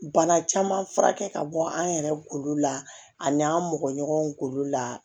Bana caman fura kɛ ka bɔ an yɛrɛ kolo la ani n'an mɔgɔ ɲɔgɔnw kolo la